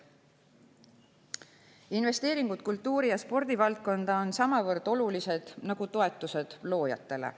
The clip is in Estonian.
Investeeringud kultuuri‑ ja spordivaldkonda on samavõrd olulised nagu toetused loojatele.